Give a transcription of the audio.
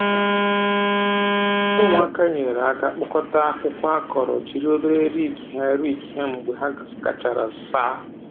Ụmụaka nyere aka kpọkọta akwụkwọ akọrọ jiri obere riki ha riki ha mgbe ha gachara saa.